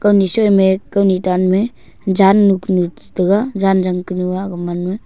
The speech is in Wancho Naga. nichoi me kai ni tan me jannu kunu tega jan jang kanu a gaman ma.